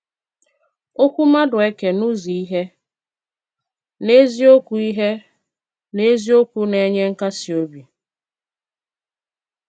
Okwú Madueke n’ụ́zụ́ ihe n’eziokwu ihe n’eziokwu na-enye nkasi obi.